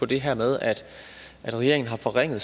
det her med at regeringen har forringet